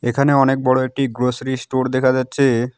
এখানে অনেক বড়ো একটি গ্রসারি স্টোর দেখা যাচ্ছে।